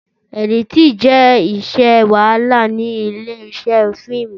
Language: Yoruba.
Ẹ̀dítínì jẹ́ iṣẹ́ wàhálà ní ilé iṣẹ́ fíìmù